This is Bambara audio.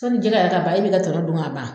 Sani jɛgɛ yɛrɛ ka ban e bɛ i ka tɔnɔ dun ka ban.